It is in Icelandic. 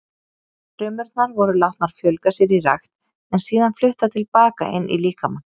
Frumurnar voru látnar fjölga sér í rækt en síðan fluttar til baka inn í líkamann.